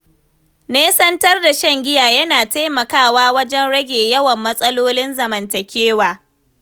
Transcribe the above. Nesantar shan giya yana taimakawa wajen rage yawan matsalolin zamantakewa.